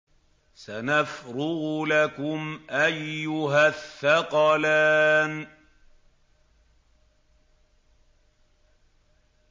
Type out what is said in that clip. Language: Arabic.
سَنَفْرُغُ لَكُمْ أَيُّهَ الثَّقَلَانِ